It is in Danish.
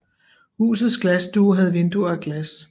Husets glasstue havde vinduer af glas